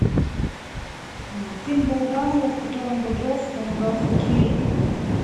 фильм балабанова в котором бодров помогал хоккеисту